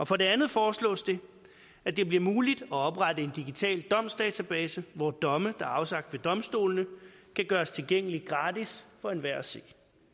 for det andet foreslås det at det bliver muligt at oprette en digital domsdatabase hvor domme der er afsagt ved domstolene kan gøres tilgængelige gratis for enhver at se